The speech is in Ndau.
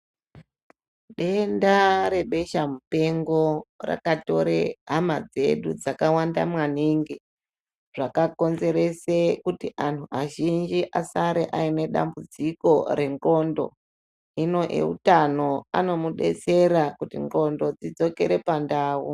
Denda rebeshamupengo, rakatore hama dzedu dzakawanda maningi, zvakakonzere kuti antu azhinji asare anedambudziko rendxondo, hino eutano anomudetsera kuti ndxondo dzidzokere pandau.